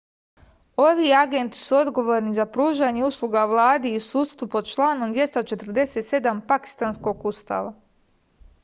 ovi agenti su odgovorni za pružanje usluga vladi i sudstvu pod članom 247 pakistanskog ustava